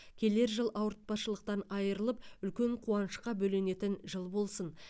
келер жыл ауыртпашылықтан айырылып үлкен қуанышқа бөленетін жыл болсын